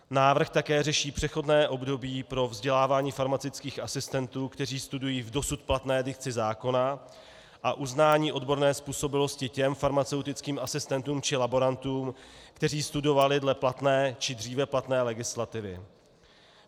Návrh také řeší přechodné období pro vzdělávání farmaceutických asistentů, kteří studují v dosud platné dikci zákona, a uznání odborné způsobilosti těm farmaceutickým asistentům či laborantům, kteří studovali dle platné či dříve platné legislativy.